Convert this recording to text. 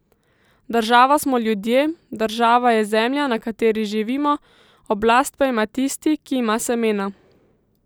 Država smo ljudje, država je zemlja, na kateri živimo, oblast pa ima tisti, ki ima semena.